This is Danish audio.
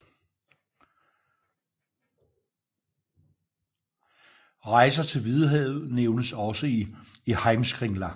Rejser til Hvidehavet nævnes også i Heimskringla